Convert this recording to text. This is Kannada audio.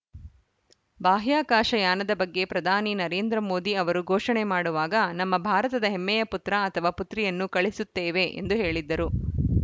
ಬಾಹ್ಯಾಕಾಶ ಯಾನದ ಬಗ್ಗೆ ಪ್ರಧಾನಿ ನರೇಂದ್ರ ಮೋದಿ ಅವರು ಘೋಷಣೆ ಮಾಡುವಾಗ ನಮ್ಮ ಭಾರತದ ಹೆಮ್ಮೆಯ ಪುತ್ರ ಅಥವಾ ಪುತ್ರಿಯನ್ನು ಕಳುಹಿಸುತ್ತೇವೆ ಎಂದು ಹೇಳಿದ್ದರು